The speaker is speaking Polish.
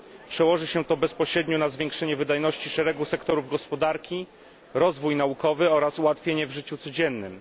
Przełoży się to bezpośrednio na zwiększenie wydajności szeregu sektorów gospodarki, rozwój naukowy oraz ułatwienia w życiu codziennym.